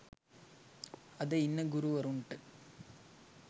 අද ඉන්න ගුරුවරුන්ට